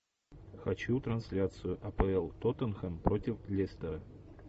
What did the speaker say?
хочу трансляцию апл тоттенхэм против лестера